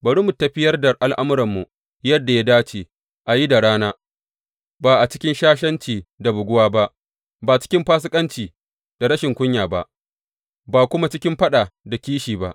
Bari mu tafiyar da al’amuranmu yadda ya dace a yi da rana, ba a cikin shashanci da buguwa ba, ba cikin fasikanci da rashin kunya ba, ba kuma cikin faɗa da kishi ba.